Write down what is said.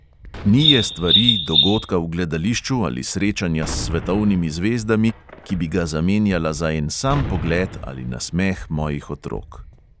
Ni je stvari, dogodka v gledališču ali srečanja s svetovnimi zvezdami, ki bi ga zamenjala za en sam pogled ali nasmeh mojih otrok.